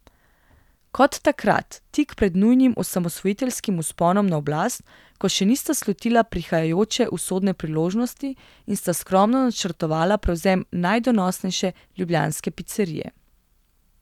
Kot takrat, tik pred njunim osamosvojiteljskim vzponom na oblast, ko še nista slutila prihajajoče usodne priložnosti in sta skromno načrtovala prevzem najdonosnejše ljubljanske picerije.